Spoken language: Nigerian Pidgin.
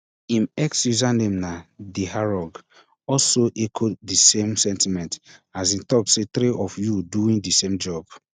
im x username na theherong also echo di same sentiment as e tok say three of you doing di same job